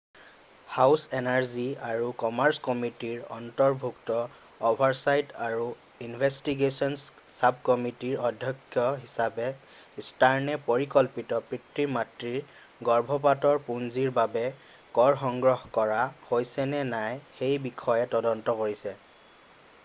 House Energy আৰু Commerce কমিটিৰ অন্তৰ্ভুক্ত অ’ভাৰচাইট আৰু ইনভেষ্টিগে’চ্‌ন্‌চ চাবকমিটিৰ অধ্যক্ষ হিচাপে ষ্টাৰ্নে পৰিকল্পিত পিতৃ-মাতৃত্বৰ গৰ্ভপাতৰ পূঁজিৰ বাবে কৰ সংগ্ৰহ কৰা হৈছেনে নাই সেইবিষয়ে তদন্ত কৰিছে।